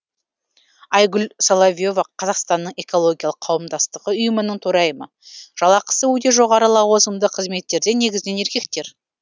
айгүл соловьева қазақстанның экологиялық қауымдастығы ұйымының төрайымы жалақысы өте жоғары лауазымды қызметтерде негізінен еркектер